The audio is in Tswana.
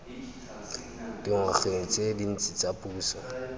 dingwageng tse dintsi tsa puso